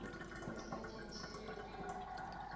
константин серия три